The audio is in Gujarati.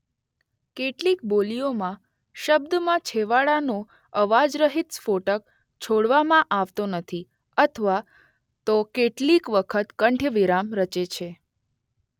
કેટલીક બોલીઓમાં શબ્દમાં છેવાડાનો અવાજરહિત સ્ફોટક છોડવામાં આવતો નથી અથવા તો કેટલીક વખત કંઠ્ય વિરામ રચે છે.